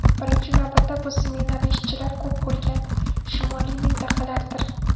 Birinchi navbatda bu smenali ishchilar ko‘p bo‘lgan shimoliy mintaqalardir.